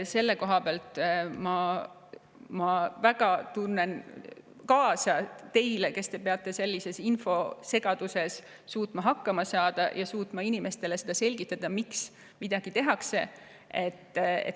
Selle koha pealt tunnen ma väga kaasa teile, kes te peate sellises infosegaduses suutma hakkama saada ja suutma inimestele selgitada, miks midagi tehakse.